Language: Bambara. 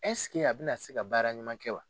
a bɛna se ka baara ɲuman kɛ wa?